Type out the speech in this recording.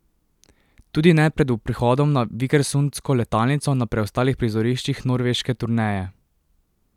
Tudi ne pred prihodom na vikersundsko letalnico na preostalih prizoriščih norveške turneje.